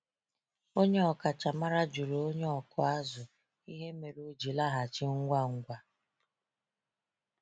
Onye ọkachamara jụrụ onye ọkụ azụ ihe mere o ji laghachi ngwa ngwa.